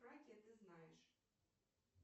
ты знаешь